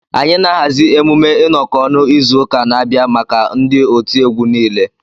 Anyị na-ahazi emume ịnọkọ ọnụ izu ụka na-abịa maka ndị otiegwu nile